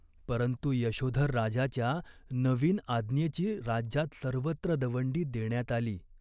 परंतु यशोधर राजाच्या नवीन आज्ञेची राज्यात सर्वत्र दवंडी देण्यात आली.